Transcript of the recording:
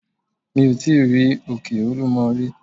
Mi ò tí rí òkè olúmo rí.